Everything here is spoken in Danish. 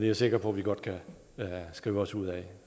jeg sikker på vi godt kan skrive os ud af